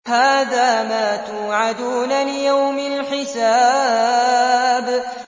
هَٰذَا مَا تُوعَدُونَ لِيَوْمِ الْحِسَابِ